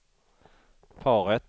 paret